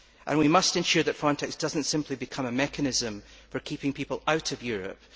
We must ensure that Frontex does not simply become a mechanism for keeping people out of Europe.